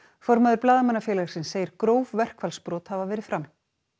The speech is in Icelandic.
formaður Blaðamannafélagsins segir gróf verkfallsbrot hafa verið framin